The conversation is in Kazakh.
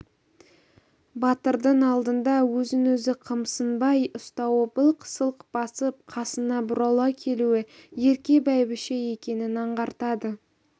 батырдың алдында өзін-өзі қымсынбай ұстауы былқ-сылқ басып қасына бұрала келуі ерке бәйбіше екенін аңғартады